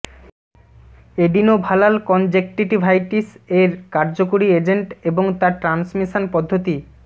এডিনোভালাল conjunctivitis এর কার্যকরী agent এবং তার ট্রান্সমিশন পদ্ধতি